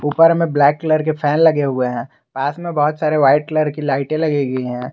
उपर में black colour के फैन लगे हुए हैं पास में बहुत सारे व्हाइट कलर की लाइटें लगी हुई है।